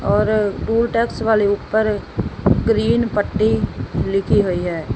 ਔਰ toll tax ਵਾਲੇ ਉਪਰ ਗਰੀਨ ਪੱਟੀ ਲਿਖੀ ਹੋਈ ਹੈ।